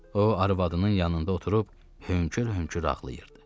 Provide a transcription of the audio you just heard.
O arvadının yanında oturub hönkür-hönkür ağlayırdı.